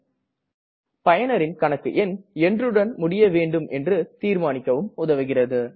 மேலும் பயனரின் கணக்கு என்றுடன் முடிய வேண்டும் என்று தீர்மானிக்க உதவுகிறது